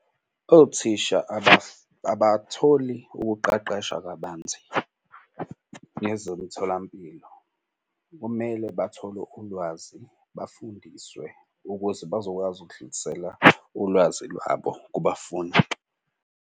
Othisha abatholi ukuqeqesha kabanzi ngezomtholampilo. Kumele bathole ulwazi bafundiswe ukuze bazokwazi ukudlulisela ulwazi lwabo kubafundi.